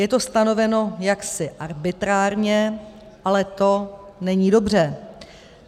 Je to stanoveno jaksi arbitrárně, ale to není dobře.